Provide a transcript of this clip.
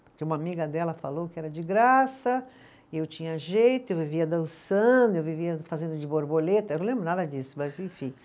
Porque uma amiga dela falou que era de graça, eu tinha jeito, eu vivia dançando, eu vivia fazendo de borboleta, eu não lembro nada disso, mas enfim.